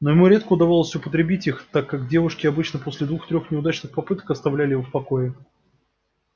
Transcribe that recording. но ему редко удавалось употребить их так как девушки обычно после двух-трех неудачных попыток оставляли его в покое